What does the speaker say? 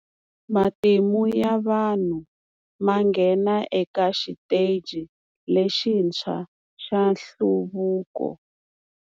Matimu ya vanhu ma nghena eka xiteji lexintshwa xa nhluvuko.